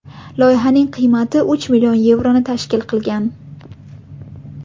Loyihaning qiymati uch million yevroni tashkil qilgan.